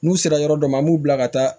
N'u sera yɔrɔ dɔ ma an b'u bila ka taa